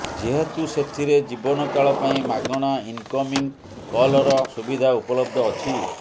ଯେହେତୁ ସେଥିରେ ଜୀବନକାଳ ପାଇଁ ମାଗଣା ଇନକମିଂ କଲର ସୁବିଧା ଉପଲବ୍ଧ ଅଛି